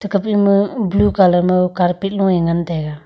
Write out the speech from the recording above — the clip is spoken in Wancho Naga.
kap ema blue colour mau carpet longe ngan taiga.